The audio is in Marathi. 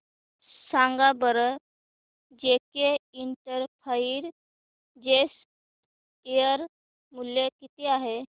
सांगा बरं जेके इंटरप्राइजेज शेअर मूल्य किती आहे